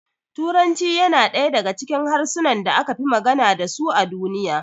Turanci yana daya daga cikin harsunan da aka fi magana dasu a duniya